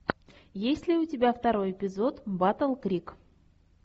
есть ли у тебя второй эпизод батл крик